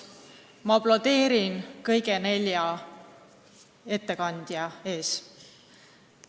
Ma aplodeerin kõigile neljale ettekandjale!